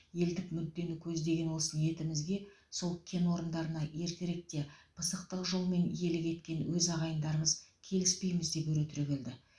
елдік мүддені көздеген осы ниетімізге сол кен орындарына ертеректе пысықтық жолмен иелік еткен өз ағайындарымыз келіспейміз деп өре түрегелді